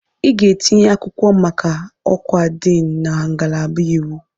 Ị ga-etinye akwụkwọ maka ọkwa Diini na ngalaba iwu!